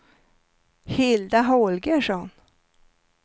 Hilda Holgersson